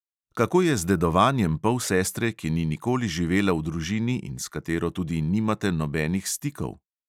Kako je z dedovanjem polsestre, ki ni nikoli živela v družini in s katero tudi nimate nobenih stikov.